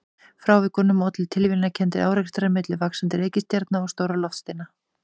Frávikunum ollu tilviljanakenndir árekstrar hinna vaxandi reikistjarna við stóra loftsteina.